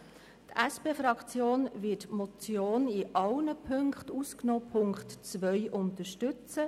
Die SP-JUSO-PSA-Fraktion wird sämtliche Ziffern ausgenommen die Ziffer 2 unterstützen.